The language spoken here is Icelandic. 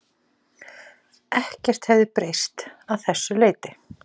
Ekkert hefði breyst að þessu leyti